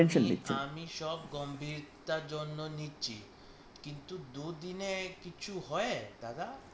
আমি সব গম্ভীরতার জন্য নিচ্ছি কিন্তু দুদিনে কিছু হয় দাদা?